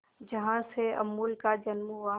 जहां से अमूल का जन्म हुआ